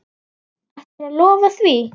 Ætlarðu að lofa því?